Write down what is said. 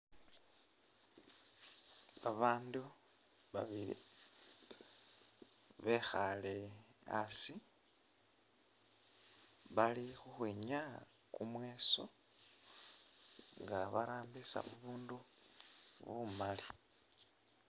Babandu babili bekhale hasi bali khukhwinyaya kumweeso nga barambisa bubundu bumali.